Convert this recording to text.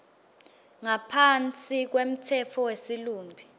ngaphansi kwemtsetfo wesilumbi